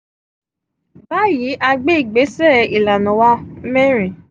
bayi a gbe igbesẹ ilana wa merin: